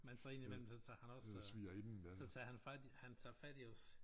Men så indimellem så tager han også øh så tager han fat han tager fat i os